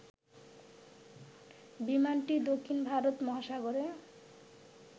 বিমানটি দক্ষিণ ভারত মহাসাগরে